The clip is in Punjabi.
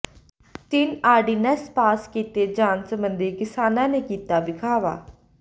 ਤਿੰਨ ਆਰਡੀਨੈੱਸ ਪਾਸ ਕੀਤੇ ਜਾਣ ਸਬੰਧੀ ਕਿਸਾਨਾਂ ਨੇ ਕੀਤਾ ਵਿਖਾਵਾ